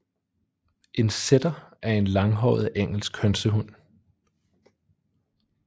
En setter er en langhåret engelsk hønsehund